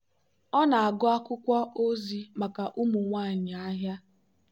ọ na-agụ akwụkwọ ozi maka ụmụ nwanyị ahịa.